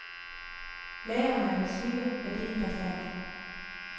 Lagrene er massive, værdien bastant.